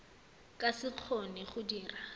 ka se kgone go dira